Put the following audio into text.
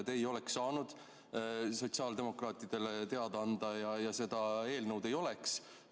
Te ei oleks saanud sotsiaaldemokraatidele teada anda ja seda eelnõu ei oleks.